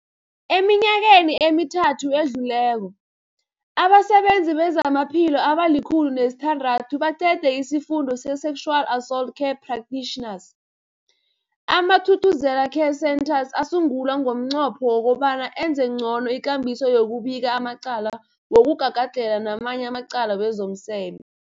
Eminyakeni emithathu edluleko, abasebenzi bezamaphilo abali-106 baqede isiFundo se-Sexual Assault Care Practitioners. AmaThuthuzela Care Centres asungulwa ngomnqopho wokobana enze ngcono ikambiso yokubika amacala wokugagadlhela namanye amacala wezomseme.